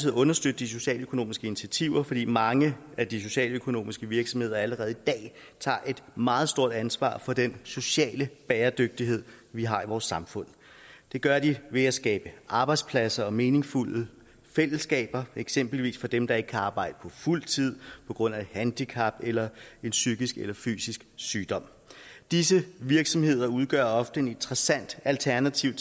at understøtte de socialøkonomiske initiativer fordi mange af de socialøkonomiske virksomheder allerede i dag tager et meget stort ansvar for den sociale bæredygtighed vi har i vores samfund det gør de ved at skabe arbejdspladser og meningsfulde fællesskaber eksempelvis for dem der ikke kan arbejde på fuld tid på grund af et handicap eller en psykisk eller fysisk sygdom disse virksomheder udgør ofte et interessant alternativ